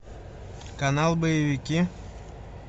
канал боевики